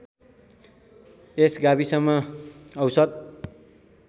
यस गाविसमा औसत